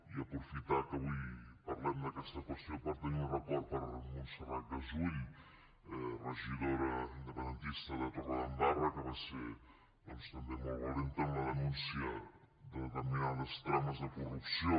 i aprofitar que avui parlem d’aquesta qüestió per tenir un record per a montserrat gassull regidora independentista de torredembarra que va ser doncs també molt valenta en la denúncia de determinades trames de corrupció